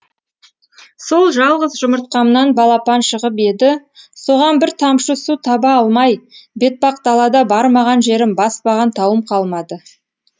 сол жалғыз жұмыртқамнан балапан шығып еді соған бір тамшы су таба алмай бетпақдалада бармаған жерім баспаған тауым қалмады